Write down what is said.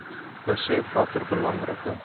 besef watter belangrike